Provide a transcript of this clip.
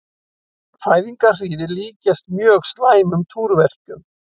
Fæðingarhríðir líkjast mjög slæmum túrverkjum.